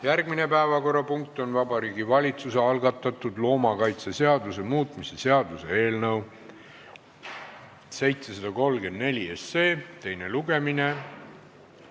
Järgmine päevakorrapunkt on Vabariigi Valitsuse algatatud loomakaitseseaduse muutmise seaduse eelnõu 734 teine lugemine.